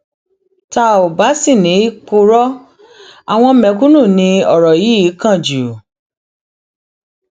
tá ò bá sì ní í purọ àwọn mẹkúnnù ni ọrọ yìí kàn jù